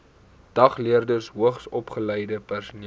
dagleerders hoogsopgeleide personeel